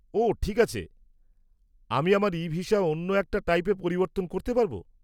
-ওহ, ঠিক আছে। আমি আমার ই-ভিসা অন্য একটা টাইপে পরিবর্তন করতে পারব?